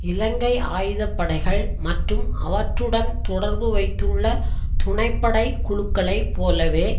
இலங்கை ஆயுத படைகள் மற்றும் அவற்றுடன் தொடர்புவைத்துள்ள துணை படை குழுக்களை போலவே